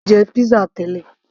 mo ti jẹ pizza tẹ́lẹ̀